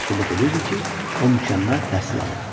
Bu da sübut edirdi ki, o mükəmməl təhsil alıb.